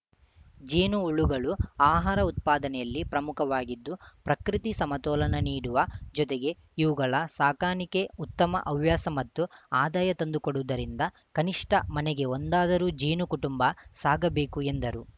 ಜೇನು ಹುಳುಗಳು ಅಹಾರ ಉತ್ಪಾದನೆಯಲ್ಲಿ ಪ್ರಮುಖವಾಗಿದ್ದು ಪ್ರಕೃತಿ ಸಮತೋಲನ ನೀಡುವ ಜೊತೆಗೆ ಇವುಗಳ ಸಾಕಾಣಿಕೆ ಉತ್ತಮ ಹವ್ಯಾಸ ಮತ್ತು ಆದಾಯ ತಂದು ಕೊಡುವುದರಿಂದ ಕನಿಷ್ಠ ಮನೆಗೆ ಒಂದಾದರೂ ಜೇನು ಕುಟುಂಬ ಸಾಗಬೇಕು ಎಂದರು